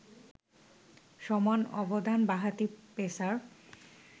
সমান অবদান বাঁহাতি পেসার